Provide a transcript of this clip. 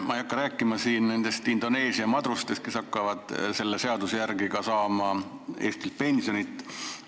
Ma ei hakka siin rääkima nendest Indoneesia madrustest, kes hakkavad selle seaduse järgi ka Eestilt pensioni saama.